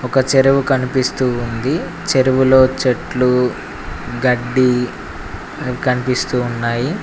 ఒక చెరువు కనిపిస్తూ ఉంది చెరువులో చెట్లు గడ్డి కన్పిస్తూ ఉన్నాయి.